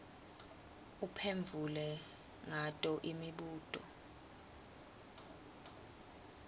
uphendvule ngato imibuto